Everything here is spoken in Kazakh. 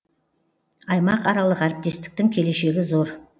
аймақаралық әріптестіктің келешегі зор